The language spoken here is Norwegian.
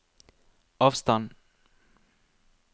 avstand